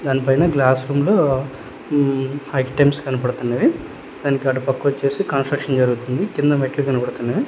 దాని పైన glass room లో ఉం ఐటమ్స్ కనబడుతున్నవి. దానికి అటు పక్క వచ్చేసి కన్స్ట్రక్షన్ జరుగుతుంది. కింద మెట్లు కబడుతున్నవి.